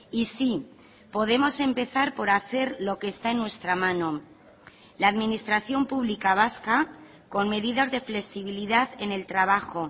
y sí podemos empezar por hacer lo que está en nuestra mano la administración pública vasca con medidas de flexibilidad en el trabajo